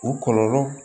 U kɔlɔlɔ